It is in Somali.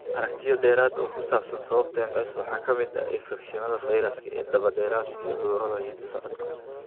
Aragtiyo dheeraad ah oo ku saabsan sababta MS waxaa ka mid ah infekshannada fayraska ee daba-dheeraada iyo cudurrada hidda-socodka.